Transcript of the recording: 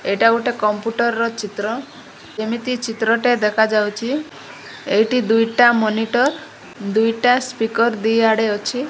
ଏଇଟା ଗୋଟେ କମ୍ପୁଟର ର ଚିତ୍ର ଯେମିତି ଚିତ୍ର ଟେ ଦେଖାଯାଉଚି ଏଇଟି ଦୁଇଟା ମୋନିଟର ଦୁଇଟା ସ୍ପିକର୍ ଦି ଆଡ଼େ ଅଛି।